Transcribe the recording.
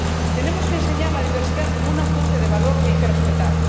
Tenemos que enseñar la diversidad como una fuente de valor que hay que respetar.